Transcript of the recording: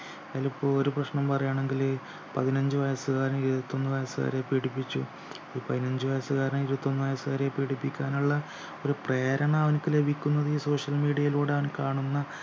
അതിലിപ്പോ ഒരു പ്രശ്നം പറയാണെങ്കില് പതിനഞ്ചു വയസുകാരൻ ഇരുപത്തൊന്നു വയസുകാരിയെ പീഡിപ്പിച്ചു ഒരു പതിനഞ്ചു വയസുകാരൻ ഇരുപത്തൊന്നു വയസുകാരിയെ പീഡിപ്പിക്കാനുള്ള ഒരു പ്രേരണ അവനിക്ക് ലഭിക്കുന്നത് ഈ social media ലൂടെയവൻ കാണുന്ന